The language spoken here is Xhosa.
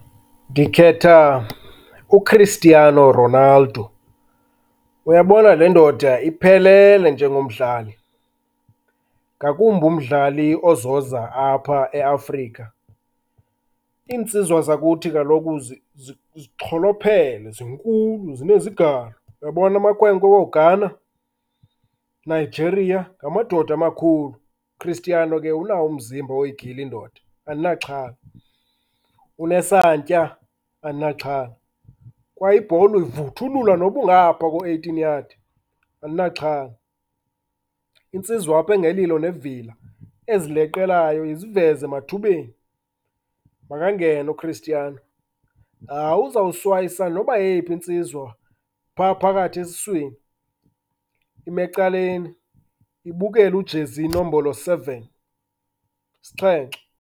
Ndiketha uChristiano Ronaldo. Uyabona le ndoda iphelele njengomdlali ngakumbi umdlali ozoza apha eAfrika. Iinsizwa zakhuthi kaloku zixholophele, zinkulu zineziganga. Uyabona amakhwenkwe wooGhana, Nigeria, ngamadoda amakhulu. UChristiano ke unawo umzimba woyigila indoda, andinaxhala, unesantya, andinaxhala. Kwaye ibhola uyivuthulula noba ungaphaa ko-eighteen yard, andinaxhala. Insizwa apha engelilo nevila, ezileqelayo iziveze emathubeni, makangene uChristiano. Hayi uzoswayisa noba yeyipha insizwa phaa phakathi esuswini, ime ecaleni ibukele ujezi nombolo seven, isixhenxe.